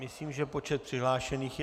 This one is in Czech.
Myslím, že počet přihlášených je...